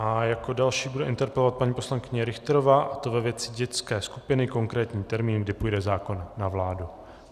A jako další bude interpelovat paní poslankyně Richterová, a to ve věci dětské skupiny - konkrétní termín, kdy půjde zákon na vládu.